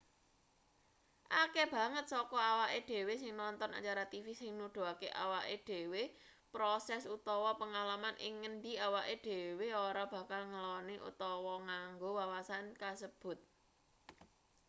akeh banget saka awake dhewe sing nonton acara tv sing nuduhake awake dhewe proses utawa pengalaman ing ngendi awake dhewe ora bakal ngeloni utawa nganggo wawasan kasebut